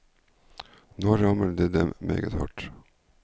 Nå rammer det dem meget hardt.